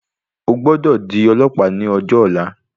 O gbọ́dọ̀ di ọlọ̀pàá ní ọjọ ọ̀la.